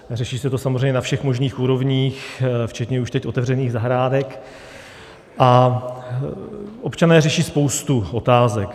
Řeší se to samozřejmě na všech možných úrovních včetně už teď otevřených zahrádek a občané řeší spoustu otázek.